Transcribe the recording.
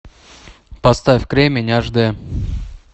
поставь кремень аш дэ